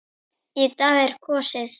Í dag er kosið.